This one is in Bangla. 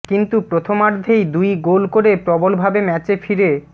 কিন্তু প্রথমার্ধেই দুই গোল করে প্রবল ভাবে ম্যাচে ফিরে